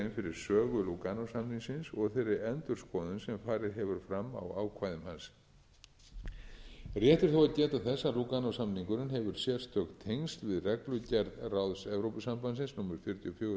lúganósamningsins og þeirri endurskoðun sem farið hefur fram á ákvæðum hans rétt er þó að geta þess að lúganósamningurinn hefur sérstök tengsl við reglugerð ráðs evrópusambandsins númer fjörutíu og fjögur tvö